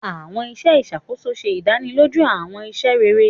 Awọn iṣẹ iṣakoso ṣe ìdánilójú awọn iṣẹ ṣiṣe.